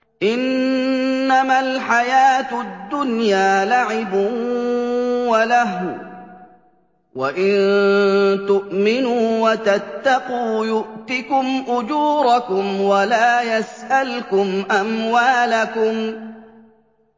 إِنَّمَا الْحَيَاةُ الدُّنْيَا لَعِبٌ وَلَهْوٌ ۚ وَإِن تُؤْمِنُوا وَتَتَّقُوا يُؤْتِكُمْ أُجُورَكُمْ وَلَا يَسْأَلْكُمْ أَمْوَالَكُمْ